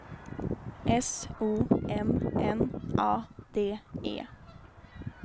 S O M N A D E